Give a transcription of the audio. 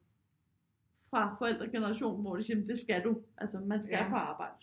Fra forældregenerationen hvor de siger jamen det skal du altså man skal på arbejde